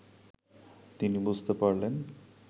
তিনি বুঝতে পারলেন